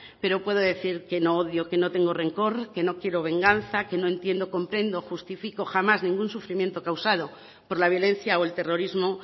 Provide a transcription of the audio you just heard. pero puedo decir que no odio que no tengo rencor que no quiero venganza que no entiendo comprendo justifico jamás ningún sufrimiento causado por la violencia o el terrorismo